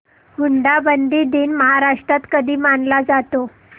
हुंडाबंदी दिन महाराष्ट्रात कधी मानला जातो